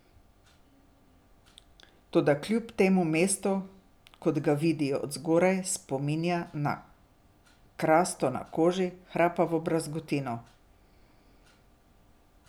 Toda kljub temu mesto, kot ga vidijo od zgoraj, spominja na krasto na koži, hrapavo brazgotino.